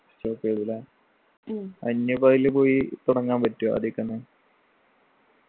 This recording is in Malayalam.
stop എയ്തു ല്ലേ എന്യു ഇപ്പൊതില് പോയി തുടങ്ങാൻ പറ്റുവൊ അതിക്കന്നെ